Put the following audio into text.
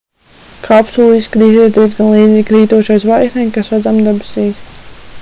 kapsula izskatīsies diezgan līdzīga krītošai zvaigznei kas redzama debesīs